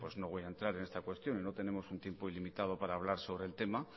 no voy a entrar en esta cuestión y no tenemos un tiempo ilimitado para hablar sobre el tema